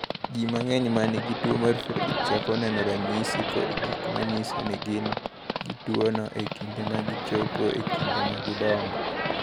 "Ji mang’eny ma nigi tuwo mar Friedreich chako neno ranyisi kod gik ma nyiso ni gin gi tuwono e kinde ma gichopo e kinde ma gidongo."